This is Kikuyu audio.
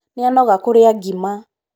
nĩanoga kũrĩa ngima